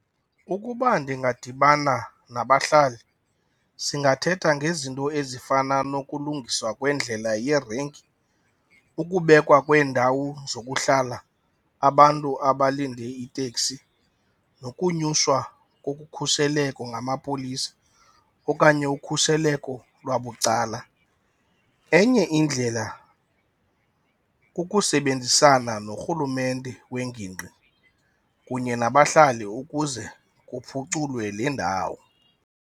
Ukuba ndingadibana nabahlali singathetha ngezinto ezifana nokulungiswa kwendlela yerenki, ukubekwa kweendawo zokuhlala abantu abalinde iiteksi nokunyuswa kokhuseleko ngamapolisa okanye ukhuseleko lwabucala. Enye indlela kukusebenzisana norhulumente wengingqi kunye nabahlali ukuze kuphuculwe le ndawo.